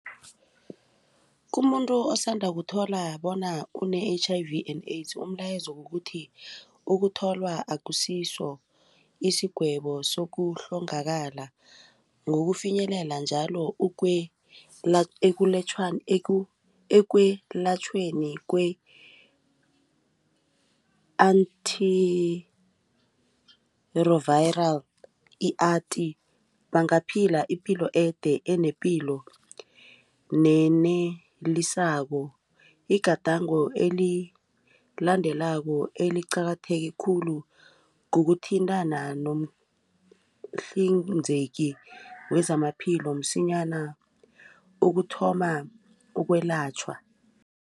Kumuntu osanda ukuthola bona une-H_I_V and AIDS umlayezo kukuthi ukutholwa akusiso isigwebo sokuhlongakala ngokufinyelela njalo ekwelatjhweni kwe-Antiritroviral i-ati bangaphila ipilo ede enepilo nenelisako. Igadango elilandelako eliqakatheke khulu kukuthintana nomhlinzeki wezamaphilo msinyana ukuthoma ukwelatjhwa.